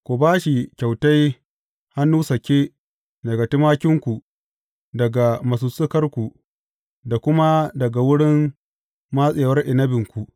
Ku ba shi kyautai hannu sake daga tumakinku, daga masussukarku, da kuma daga wurin matsewar inabinku.